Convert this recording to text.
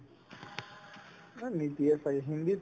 মানে নিদিয়ে ছাগে হিন্দীত